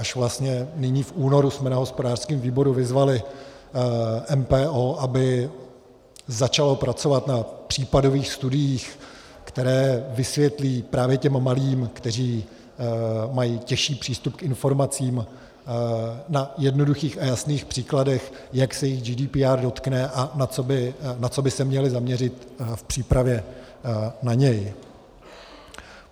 Až vlastně nyní v únoru jsme na hospodářském výboru vyzvali MPO, aby začalo pracovat na případových studiích, které vysvětlí právě těm malým, kteří mají těžší přístup k informacím, na jednoduchých a jasných příkladech, jak se jich GDPR dotkne a na co by se měli zaměřit v přípravě na ně.